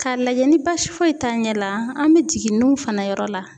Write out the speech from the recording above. K'a lajɛ ni basi foyi t'a ɲɛ la an bɛ jigin nunw fana yɔrɔ la.